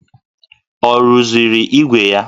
Ọ rụziri ígwè ya?